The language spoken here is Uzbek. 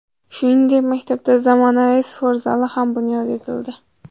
Shuningdek, maktabda zamonaviy sport zali ham bunyod etildi.